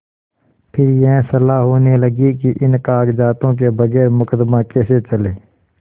फिर यह सलाह होने लगी कि इन कागजातों के बगैर मुकदमा कैसे चले